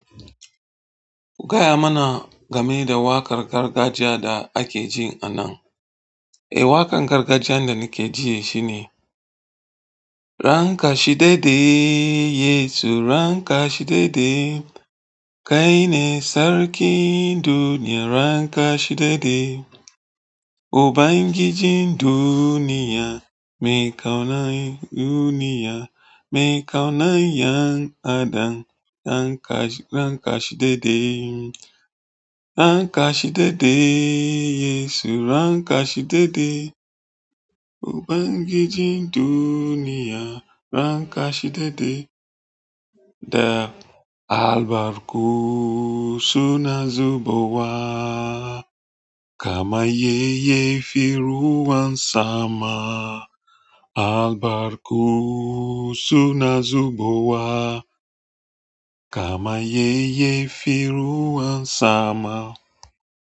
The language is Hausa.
Gaya mana game da waƙar gargajiya da ake ji a nan. Eh, waƙar gargajiya da nake jiya shine: "Rankashi dede Yesu, rankashi dede. Kai ne sarkin duniya, rankashi dede. O bangiji duniya, mai ƙauna duniya, mai ƙauna 'yan adam, ranka-rankashi dede. Rankashi daidai Yesu, rankashi daidai. O bangiji duniya, rankashi daidai." Da "Albarku suna zubuwa, kama yayyafi ruwan sama. Albarku suna zuɓuwa, kama yayyafi ruwan sama."